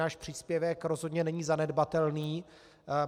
Náš příspěvek rozhodně není zanedbatelný.